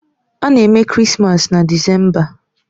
A na-eme Krismas na Disemba.